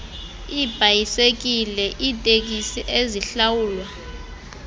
iibhayisekile iiteksi ezihlawulwa